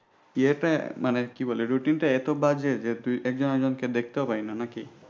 ইয়েতে মানে কি বলে routine টা এত বাজে যে একজন একজনকে দেখতেই পায় না নাকি।